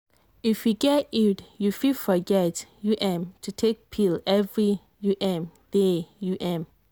if you get iud you fit forget um to take pill every um day. um